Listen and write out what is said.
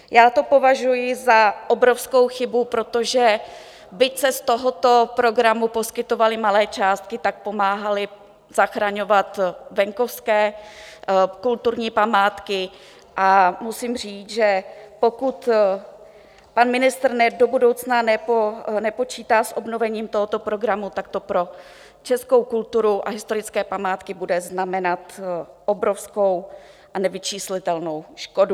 Já to považuji za obrovskou chybu, protože byť se z tohoto programu poskytovaly malé částky, tak pomáhaly zachraňovat venkovské kulturní památky, a musím říct, že pokud pan ministr do budoucna nepočítá s obnovením tohoto programu, tak to pro českou kulturu a historické památky bude znamenat obrovskou a nevyčíslitelnou škodu.